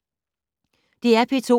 DR P2